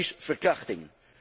Dat is verkrachting.